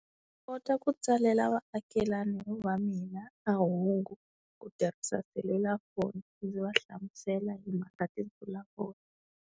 Ku kota ku tsalela vaakelani va mina mahungu, ku tirhisa selulafoni ndzi va hlamusela hi mhaka tinsulavoya.